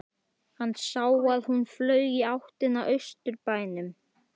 Hann sá að hún flaug í áttina að Austurbænum.